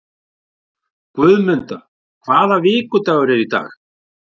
Guðmunda, hvaða vikudagur er í dag?